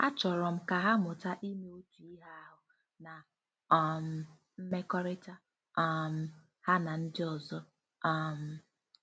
Achọrọ m ka ha mụta ime otu ihe ahụ n' um mmekọrịta um ha na ndị ọzọ. um ”